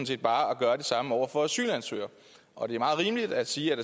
set bare at gøre det samme over for asylansøgere og det er meget rimeligt at sige at